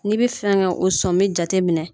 N'i bɛ fɛn ka o sɔmi jateminɛ